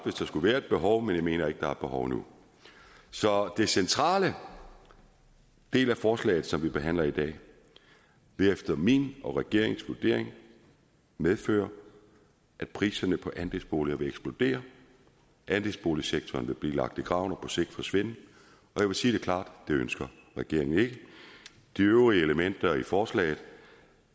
hvis der skulle være et behov men jeg mener ikke der er et behov nu så den centrale del af forslaget som vi behandler i dag vil efter min og regeringens vurdering medføre at priserne på andelsboliger vil eksplodere andelsboligsektoren vil blive lagt i graven og på sigt forsvinde og sige det klart det ønsker regeringen ikke de øvrige elementer i forslaget